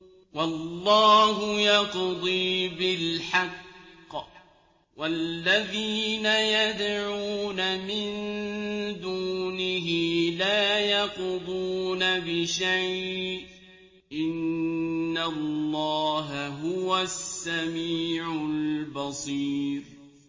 وَاللَّهُ يَقْضِي بِالْحَقِّ ۖ وَالَّذِينَ يَدْعُونَ مِن دُونِهِ لَا يَقْضُونَ بِشَيْءٍ ۗ إِنَّ اللَّهَ هُوَ السَّمِيعُ الْبَصِيرُ